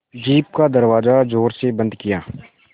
jeep का दरवाज़ा ज़ोर से बंद किया